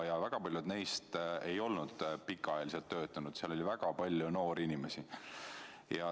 Paljud neist ei olnud pikka aega töötanud, seal oli väga palju noori inimesi.